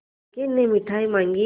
लड़के ने मिठाई मॉँगी